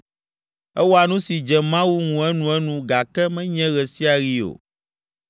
Ewɔa nu si dze Mawu ŋu enuenu gake menye ɣe sia ɣi o!